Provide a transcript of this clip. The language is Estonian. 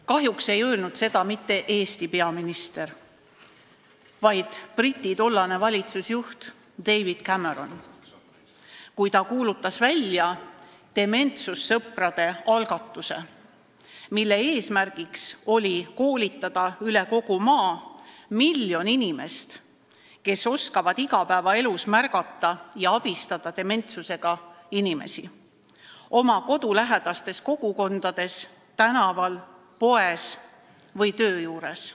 " Kahjuks ei öelnud seda mitte Eesti peaminister, vaid Briti tollane valitsusjuht David Cameron, kui ta kuulutas välja dementsuse sõprade algatuse, mille eesmärk oli koolitada üle kogu maa miljon inimest, kes oskaksid igapäevaelus märgata ja abistada dementsusega inimesi oma kodulähedastes kogukondades, tänaval, poes või töö juures.